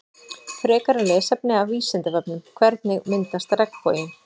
Frekara lesefni af Vísindavefnum Hvernig myndast regnboginn?